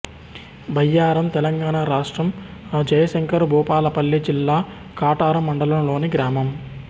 బయ్యారం తెలంగాణ రాష్ట్రం జయశంకర్ భూపాలపల్లి జిల్లా కాటారం మండలంలోని గ్రామం